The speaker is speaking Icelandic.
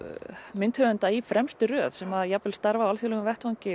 myndhöfunda í fremstu röð sem jafnvel starfa á alþjóðlegum vettvangi